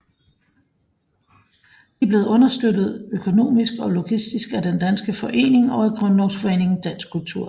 De er blevet understøttet økonomisk og logistisk af Den Danske Forening og af Grundlovsforeningen Dansk Kultur